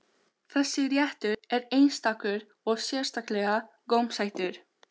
Þessi réttur er einstakur og sérstaklega gómsætur.